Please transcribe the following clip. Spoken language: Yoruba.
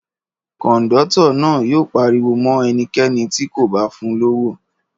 Kọ̀ńdọ́tọ̀ náà yóò pariwo mọ́ ẹnikẹ́ni tí kò bá fun lówó.